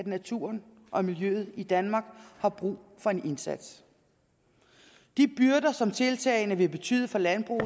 naturen og miljøet i danmark har brug for en indsats de byrder som tiltagene vil betyde for landbruget